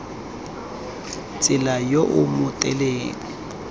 tsela yo o mo tseleng